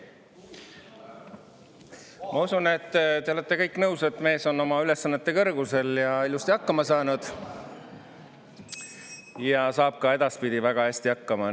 Ma usun, et te olete kõik nõus, et mees on oma ülesannete kõrgusel, on ilusti hakkama saanud ning saab ka edaspidi väga hästi hakkama.